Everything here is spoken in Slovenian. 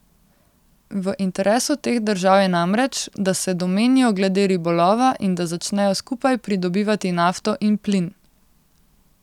V interesu teh držav je namreč, da se domenijo glede ribolova in da začnejo skupaj pridobivati nafto in plin.